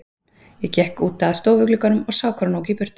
Ég gekk út að stofuglugganum og sá hvar hún ók í burtu.